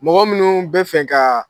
Mɔgɔ minnu bɛ fɛ ka